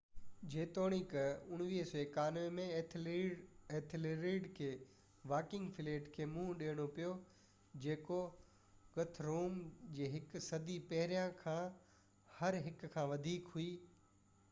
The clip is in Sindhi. جيتوڻيڪ991 ۾ ايٿيلريڊ کي وائيڪنگ فليٽ کي منهن ڏيڻو پيو جيڪو گٿروم جي هڪ صدي پهريان کان هر هڪ کان وڌيڪ هئي